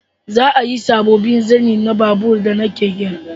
Za a yi sabobbin zanen babur da na keke